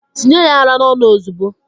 Tinye ya ara n'ọnụ ozugbo!